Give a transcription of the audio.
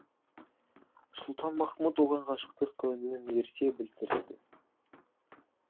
сұлтанмахмұт оған ғашықтық көңілін ерте білдіреді